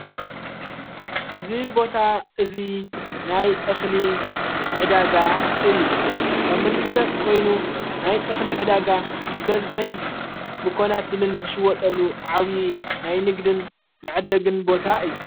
እዝ ቦታ እዙይ ናይ እኽሊ ዕዳጋ እዩ ከም ንፍለጥ ኮይኑ ናይ እኽሊ ዕዳጋ ብበዝኅን ብኮናትልን ዝሽወጠሉ ዓውዪ ናይ ንግድን መዕደግን ቦታ እዩ፡፡